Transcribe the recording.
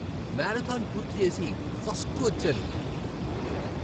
Marathon పూర్తి చేసి, first వచ్చాను.